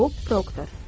Bob Proktor.